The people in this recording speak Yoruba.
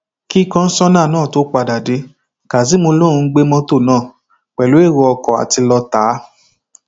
kí kọńsóná náà tóó padà dé kazeem lòún gbé mọtò náà pẹlú èrò ọkàn àti lọọ ta á